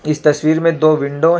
इस तस्वीर मे दो विंडो है.